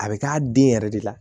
A bɛ k'a den yɛrɛ de la